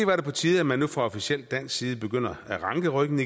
på tide at man nu fra officiel dansk side igen begynder at ranke ryggen